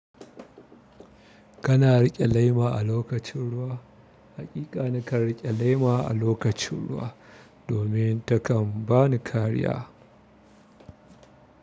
Kana riƙe lema a lokacin ruwa. Hakika na kan riƙe lema a lokacin ruwa domin takan bani kariya.